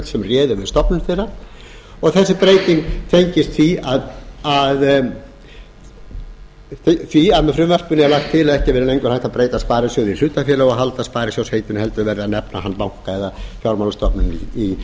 sem réðu við stofnun þeirra þessi breyting tengist því að með frumvarpinu er lagt til að ekki verði lengur hægt að breyta sparisjóði í hlutafélag og halda sparisjóðsheitinu heldur verði að nefna hann banka eða fjármálastofnun í samræmi